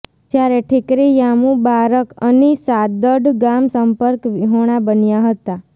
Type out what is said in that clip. જયારે ઠીકરીયામુબારક અની સાદડ ગામ સંપર્ક વિહોણા બન્યા હતા